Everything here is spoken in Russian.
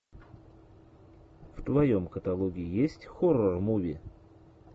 в твоем каталоге есть хоррор муви